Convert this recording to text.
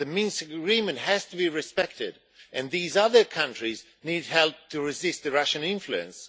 The Minsk agreement has to be respected, and these other countries need help to resist the Russian influence.